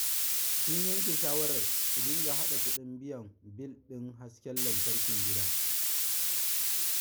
Sun yanke shawarar su dinga haɗa kuɗin biya bil ɗin hasken lantarkin gidan.